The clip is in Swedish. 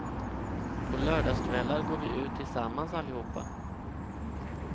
På lördagskvällar går vi ut tillsammans allihopa.